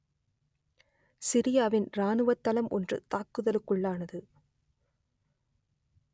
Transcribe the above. சிரியாவின் இராணுவத் தளம் ஒன்று தாக்குதலுக்குள்ளானது